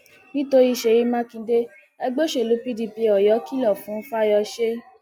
nítorí ṣéyí mákindé ẹgbẹ òṣèlú pdp oyó kìlọ fún fáyọsé